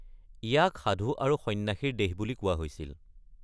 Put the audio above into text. ইয়াক সাধু আৰু সন্ন্যাসীৰ দেশ বুলি কোৱা হৈছিল।